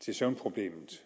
til søvnproblemet